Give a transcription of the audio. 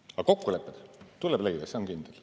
Aga kokkulepped tuleb leida, see on kindel.